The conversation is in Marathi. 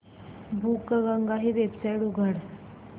बुकगंगा ही वेबसाइट उघड